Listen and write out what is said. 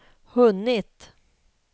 hunnit